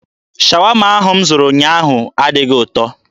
Shawama ahụ m zụrụ ụnyaahụ adịghị ụtọ.